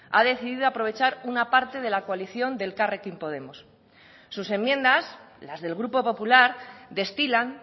ha decidido aprovechar una parte de la coalición de elkarrekin podemos sus enmiendas las del grupo popular destilan